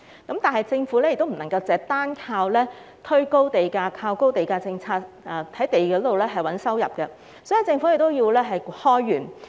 同時，政府不能夠單靠推高地價，在土地上賺取收入，所以政府需要開源。